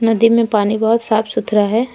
नदी में पानी बहुत साफ सुथरा है।